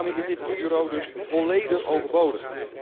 Daarmee is dit bureau dus volledig overbodig.